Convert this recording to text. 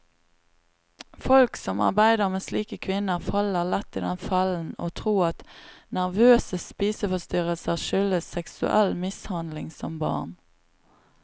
Folk som arbeider med slike kvinner, faller lett i den fellen å tro at nervøse spiseforstyrrelser skyldes seksuell mishandling som barn.